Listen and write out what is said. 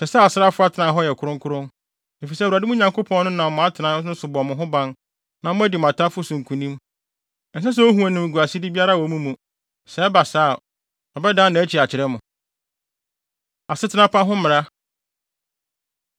Ɛsɛ sɛ asraafo atenae hɔ yɛ kronkron, efisɛ Awurade, mo Nyankopɔn no, nam mo atenae no so bɔ mo ho ban na moadi mo atamfo so nkonim. Ɛnsɛ sɛ ohu animguasede biara wɔ mo mu; sɛ ɛba saa a, ɔbɛdan nʼakyi akyerɛ mo. Asetena Pa Ho Mmara